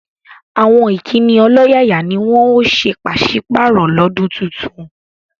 Àwọn Ìkíni ọlọ́yàyà ni wọ́n ó ṣe paṣìpàrọ̀ lọdún tuntun